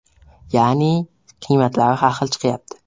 Ya’ni qiymatlari har xil chiqyapti.